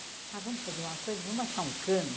Ah, vamos fazer uma coisa, vamos achar um cano.